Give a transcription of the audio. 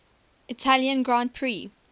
italian grand prix